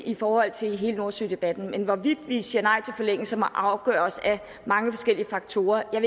i forhold til hele nordsødebatten men hvorvidt vi siger nej til forlængelser må afgøres af mange forskellige faktorer jeg